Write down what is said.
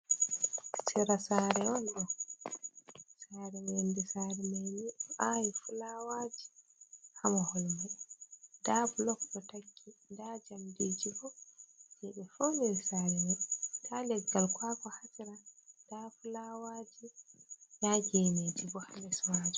Sera saare on ɗo, saare mai yonde saare mai ɗo awi fulawaji, ha mahol mai nda blok ɗo takki, nda jamdiji bo je ɓe pauniri saare mai, nda leggal kwakwa ha nder, nda fulawaji, nda geneji bo les majum.